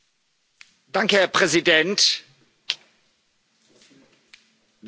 Herr Präsident, werte Kollegen!